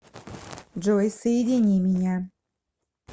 джой соедини меня